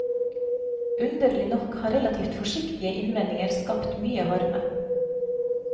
Underlig nok har relativt forsiktige innvendinger skapt mye harme.